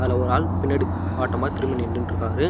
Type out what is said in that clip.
இதுல ஒரு ஆள் பின்னாடி வாட்டமா திரும்பி நின்னுட்டுருக்காரு.